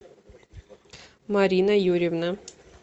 марина юрьевна